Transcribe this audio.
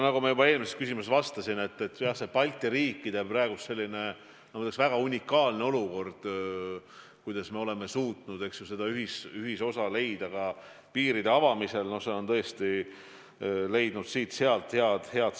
Nagu ma juba eelmisele küsimusele vastates ütlesin: see Balti riikide väga unikaalne otsus, see, et me oleme suutnud leida ühisosa piiride avamisel, on tõesti leidnud siit-sealt tunnustust.